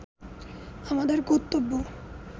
আমাদের কর্ত্তব্য